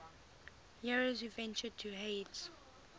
heroes who ventured to hades